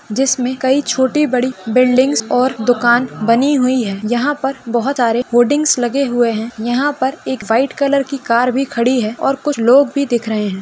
'' जिसमे कई छोटी बड़ी बिल्डिंगस और दुकान बनी हुई है यहा पर बहुत सारे बोर्डिंग्स लगे हुए है यहा पर एक व्हाइट कलर की कार भी खड़ी है और कुछ लोग भी दिख रहे है। ''